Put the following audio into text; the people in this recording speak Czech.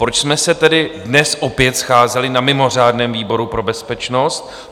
Proč jsme se tedy dnes opět scházeli na mimořádném výboru pro bezpečnost?